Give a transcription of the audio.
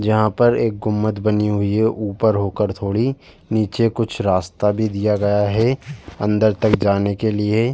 यहाँ पर एक गुंबद बने हुई है ऊपर होकर थोड़ी नीचे कुछ रास्ता भी दिया गया है अंदर तक जाने के लिए।